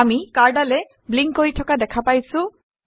আমি কাৰ্ডালৰ ব্লিংক কৰি থকা দেখা পাইছোঁ